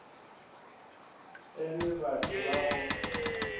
e le batho ba go